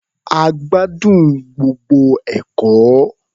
A gbádùn gbogbo ẹ̀kọ́.